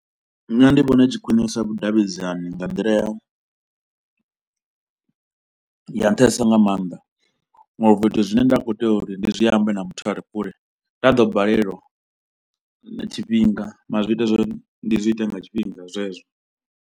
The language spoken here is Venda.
Nṋe ndi vhona i tshi khwinisa vhudavhidzani nga nḓila ya ya nṱhesa nga maanḓa ngauri zwithu zwine nda khou tea uri ndi zwi ambe na muthu a re kule nda ḓo balelwa tshifhinga mara zwi ita zwori ndi zwi ite nga tshifhinga zwezwo.